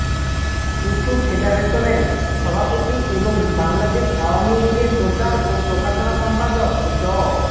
wushu ফেডারেশনের সভাপতি এবং বাংলাদেশ আওয়ামী লীগের প্রচার ও প্রকাশনা সম্পাদক ড